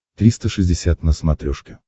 триста шестьдесят на смотрешке